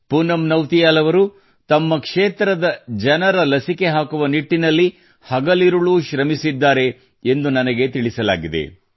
ಪೂನಂ ಅವರು ತಮ್ಮ ಕ್ಷೇತ್ರದ ಜನರ ಲಸಿಕೆ ಹಾಕುನ ನಿಟ್ಟಿನಲ್ಲಿ ಹಗಲಿರುಳು ಶ್ರಮಿಸಿದ್ದಾರೆ ಎಂದು ನನಗೆ ತಿಳಿಸಲಾಗಿದೆ